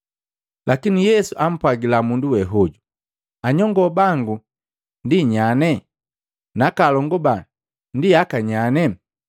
Lakini Yesu ampwagila mundu wehoju, “Anyongo bangu ndi nyane? Nakalongu ba ndi akanyane?”